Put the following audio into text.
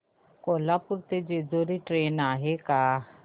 कोल्हापूर ते जेजुरी ट्रेन आहे का